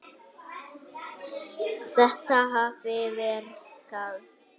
Þetta hafi verkað.